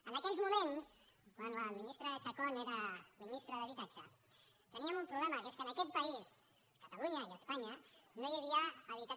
en aquells moments quan la ministra chacón era minis·tra d’habitatge teníem un problema que és que en aquest país a catalunya i a espanya no hi havia ha·bitatge